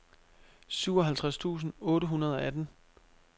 syvoghalvtreds tusind otte hundrede og atten